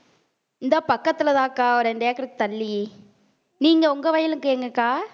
இந்தா பக்கத்துலதான்க்கா ஒரு இரண்டு ஏக்கருக்கு தள்ளி நீங்க உங்க வயலுக்கு எங்க அக்கா